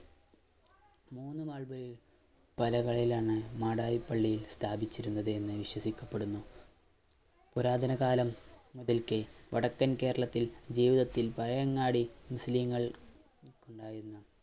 മൂന്ന് നാൾ കടകളിലാണ് മാടായിപ്പള്ളി സ്ഥാപിച്ചിരുന്നത് എന്ന് വിശ്വസിക്കപ്പെടുന്നു പുരാതന കാലം മുതൽക്കേ വടക്കൻ കേരളത്തിൽ രൂപത്തിൽ പയങ്ങാടി മുസ്ലിങ്ങൾ